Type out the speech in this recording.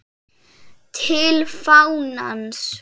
TIL FÁNANS